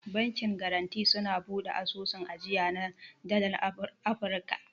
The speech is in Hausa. Bankin garanti suna bude asusun ajiya na dalar amurka.